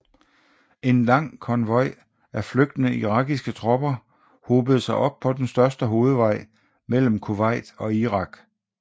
En lang konvoj af flygtende irakiske tropper hobede sig op på den største hovedvej mellem Kuwait og Irak